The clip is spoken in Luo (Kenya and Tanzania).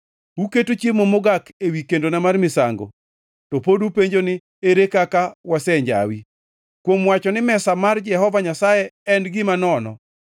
“Uketo chiemo mogak ewi kendona mar misango. “To pod upenjo ni, ‘Ere kaka wasenjawi?’ “Kuom wacho ni mesa mar Jehova Nyasaye en gima nono.